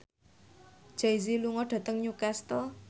Jay Z lunga dhateng Newcastle